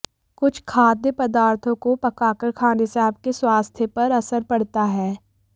कुछ खाद्य पदार्थों को पकाकर खाने से आपके स्वास्थ्य पर असर पड़ता है